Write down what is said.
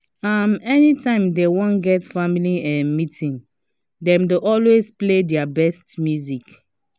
um any time dem wan get family um meeting dem dey always play their best music